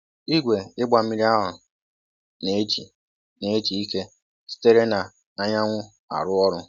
Igwe ịgba mmiri ahụ na-eji na-eji ike sitere na anyanwụ arụ ọrụ.